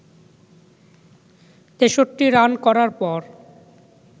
৬৩ run করার পর